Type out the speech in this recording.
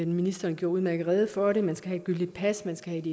ministeren gjorde udmærket rede for det man skal have et gyldigt pas man skal